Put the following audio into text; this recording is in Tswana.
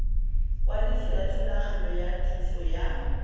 kwadiso yathulaganyo ya thuso ya